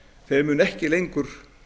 þeir munu ekki lengur